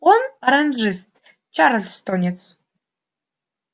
не оранжист чарльстонец